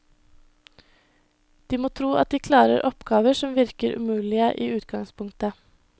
De må tro at de klarer oppgaver som virker umulige i utgangspunktet.